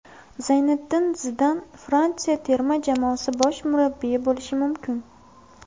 Zayniddin Zidan Fransiya terma jamoasi bosh murabbiyi bo‘lishi mumkin.